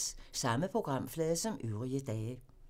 Samme programflade som øvrige dage